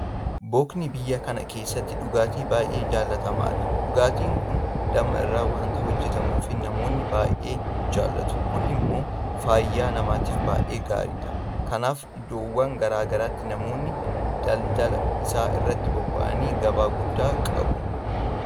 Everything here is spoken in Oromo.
Bookni biyya kana keessatti dhugaatii baay'ee jaalatamaadha. Dhugaatiin kun Damma irraa waanta hojjetamuuf namoonni baay'ee jaalatu. Kun immoo fayyaa namaatiif baay'ee gaariidha. Kanaaf iddoowwan garaa garaatti namoonni daldala isaa irratti bobba'an gabaa guddaa qabu.